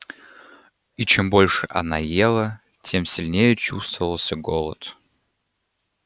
и чем больше она ела тем сильнее чувствовался голод